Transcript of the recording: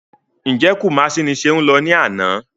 Ǹjẹ́ Kumasi ni Ṣeun lọ ní àná?